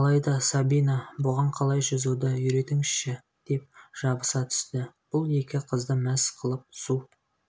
алайда сабина бұған қалай жүзуді үйретіңізші деп жабыса түсті бұл екі қызды мәз қылып су